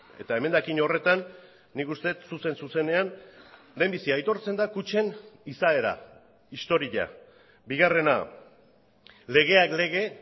eta emendakin horretan nik uste dut zuzen zuzenean lehenbizi aitortzen da kutxen izaera historia bigarrena legeak lege